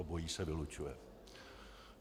Obojí se vylučuje.